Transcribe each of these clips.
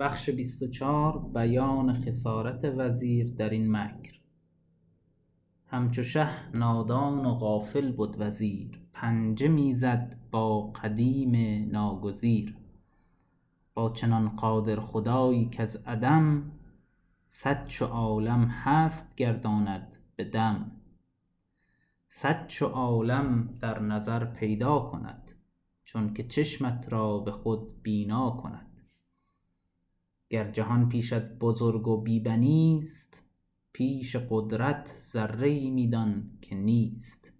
همچو شه نادان و غافل بد وزیر پنجه می زد با قدیم ناگزیر با چنان قادر خدایی کز عدم صد چو عالم هست گرداند بدم صد چو عالم در نظر پیدا کند چونک چشمت را به خود بینا کند گر جهان پیشت بزرگ و بی بنیست پیش قدرت ذره ای می دان که نیست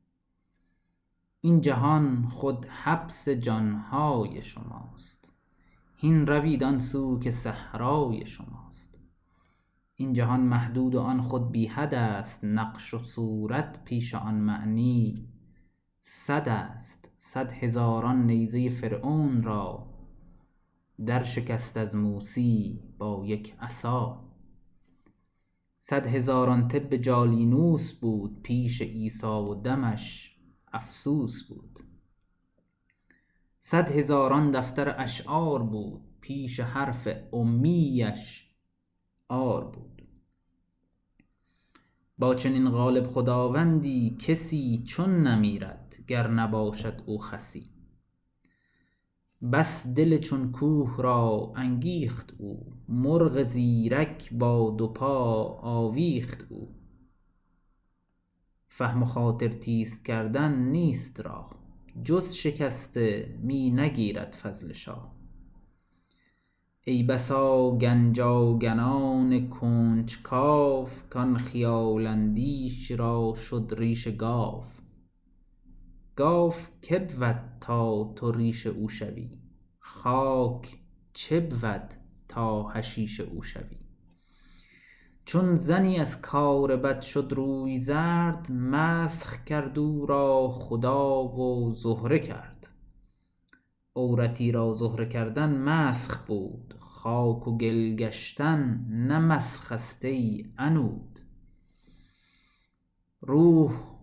این جهان خود حبس جانهای شماست هین روید آن سو که صحرای شماست این جهان محدود و آن خود بی حدست نقش و صورت پیش آن معنی سدست صد هزاران نیزه فرعون را در شکست از موسیی با یک عصا صد هزاران طب جالینوس بود پیش عیسی و دمش افسوس بود صد هزاران دفتر اشعار بود پیش حرف امیی اش عار بود با چنین غالب خداوندی کسی چون نمیرد گر نباشد او خسی بس دل چون کوه را انگیخت او مرغ زیرک با دو پا آویخت او فهم و خاطر تیز کردن نیست راه جز شکسته می نگیرد فضل شاه ای بسا گنج آگنان کنج کاو کان خیال اندیش را شد ریش گاو گاو که بود تا تو ریش او شوی خاک چه بود تا حشیش او شوی چون زنی از کار بد شد روی زرد مسخ کرد او را خدا و زهره کرد عورتی را زهره کردن مسخ بود خاک و گل گشتن نه مسخست ای عنود روح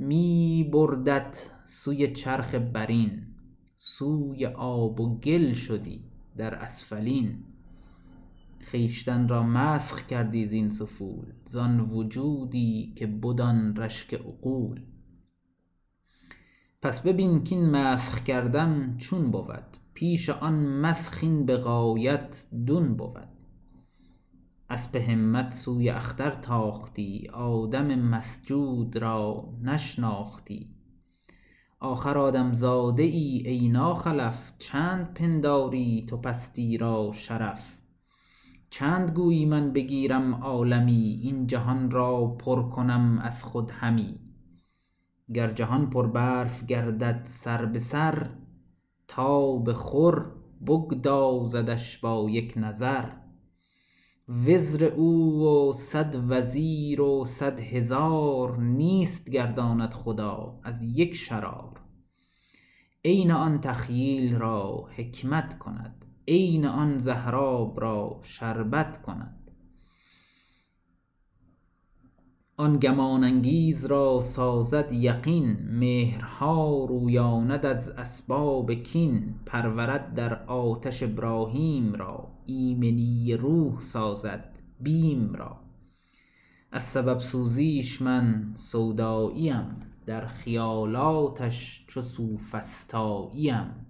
می بردت سوی چرخ برین سوی آب و گل شدی در اسفلین خویشتن را مسخ کردی زین سفول زان وجودی که بد آن رشک عقول پس ببین کین مسخ کردن چون بود پیش آن مسخ این به غایت دون بود اسپ همت سوی اختر تاختی آدم مسجود را نشناختی آخر آدم زاده ای ای ناخلف چند پنداری تو پستی را شرف چند گویی من بگیرم عالمی این جهان را پر کنم از خود همی گر جهان پر برف گردد سربسر تاب خور بگدازدش با یک نظر وزر او و صد وزیر و صدهزار نیست گرداند خدا از یک شرار عین آن تخییل را حکمت کند عین آن زهراب را شربت کند آن گمان انگیز را سازد یقین مهرها رویاند از اسباب کین پرورد در آتش ابراهیم را ایمنی روح سازد بیم را از سبب سوزیش من سوداییم در خیالاتش چو سوفسطاییم